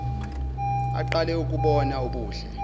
aqale ukubona ubuhle